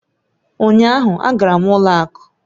Ụnyaahụ, agara m ụlọ akụ